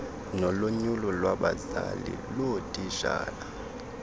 nolonyulo lwabazali loootitshala